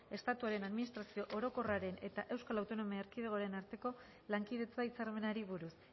estatuaren administrazio orokorraren eta euskal autonomia erkidegoaren arteko lankidetza hitzarmenari buruz